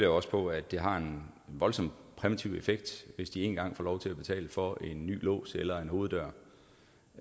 jeg også på at det har en voldsom præventiv effekt hvis de en gang får lov til at betale for en ny lås eller hoveddør